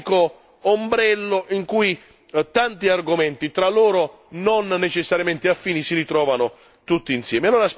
Un unico ombrello in cui tanti argomenti, tra loro non necessariamente affini si ritrovano tutti insieme.